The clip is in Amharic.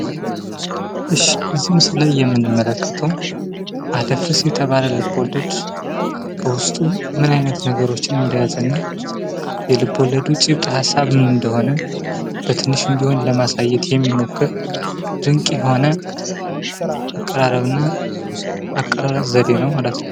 እዚህ ምስል ላይ የምንመለከተው አደፍርስ የተባለ ልቦለድ፤ በውስጡ ምን አይነት ነገሮችን እንደያዘና የልቦለዱ ጭብጥ ሃሳብ ምን እንደሆነ ለማሳየት የሚሞክር ፣ ድንቅ የሆነ የአቀራረብ ዘዴ ነው።